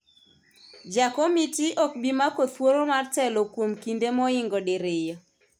ja komiti ok bi mako thuolo mar telo kuom kinde moingo diriyo